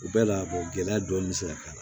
U bɛɛ la gɛlɛya dɔɔni bɛ se ka k'a la